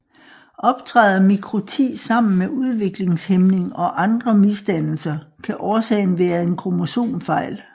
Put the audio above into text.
Optræder mikroti sammen med udviklingshæmning og andre misdannelser kan årsagen være en kromosomfejl